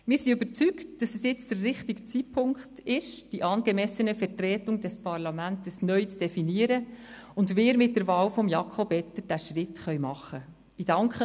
Wir sind überzeugt, dass es jetzt der richtige Zeitpunkt ist, die angemessene Vertretung des Parlaments neu zu definieren, und dass wir mit der Wahl von Jakob Etter diesen Schritt machen können.